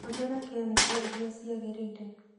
Hũthĩra kemiko iria ciagĩrĩire.